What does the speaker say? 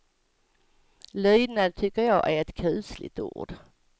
Lydnad tycker jag är ett kusligt ord.